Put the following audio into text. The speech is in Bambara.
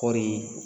Kɔɔri